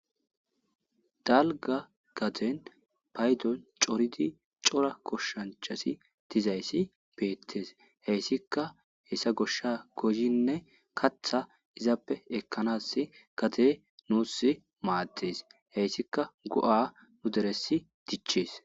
Dalga gaten paydon coridi cora koshshanchasi dizayssi beettes heyssika hessa goshsha gozinne katha izappe ekkanas gate nuus maaddes heyssika go,a nu deressi dichees.